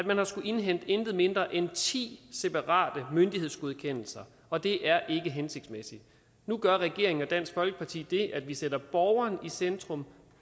man har skullet indhente intet mindre end ti separate myndighedsgodkendelser og det er ikke hensigtsmæssigt nu gør regeringen og dansk folkeparti det at vi sætter borgeren i centrum